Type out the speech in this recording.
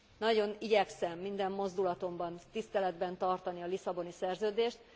Nagyon igyekszem minden mozdulatomban tiszteletben tartani a Lisszaboni Szerződést.